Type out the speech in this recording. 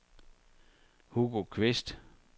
Hugo Qvist